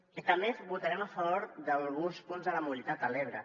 i també votarem a favor d’alguns punts de la mobilitat a l’ebre